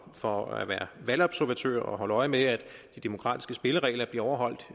for at være valgobservatører og holde øje med at de demokratiske spilleregler bliver overholdt